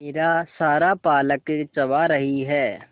मेरा सारा पालक चबा रही है